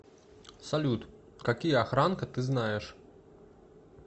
салют какие охранка ты знаешь